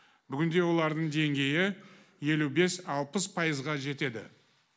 бүгінде олардың деңгейі елу бес алпыс пайызға жетеді